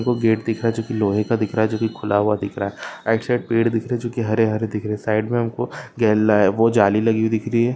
वो गेट दिख रहा है जो की लोहे का दिख रहा है जो की खुला हुआ दिख रहा है राइट साइड पेड़ दिख रहे है जो की हरे हरे दिख रहे है साइड मे हमको वो जाली लगी हुई दिख रही है।